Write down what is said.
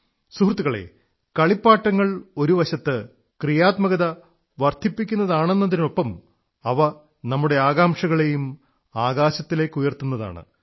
സുഹൃത്തുക്കളേ കളിപ്പാട്ടങ്ങൾ ഒരു വശത്ത് സക്രിയത വർധിപ്പിക്കുന്നതാണെന്നതിനൊപ്പം അവ നമ്മുടെ ആകാംക്ഷകളെയും ആകാശത്തിലേക്കുയർത്തുന്നതാണ്